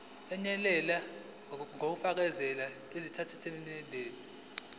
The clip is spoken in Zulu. eyenele ngokufakela izitatimende